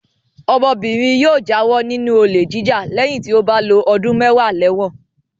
Ọmọbìnrin yóò jáwọ́ nínú olè jíjà lẹ́yìn tí ó bá lo ọdún mẹ́wàá lẹ́wọ̀n.